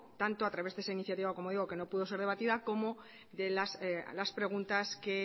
tanto a través de esa iniciativa como digo que no puedo ser debatida como las preguntas que